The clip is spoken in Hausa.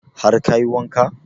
Har kayi wanka?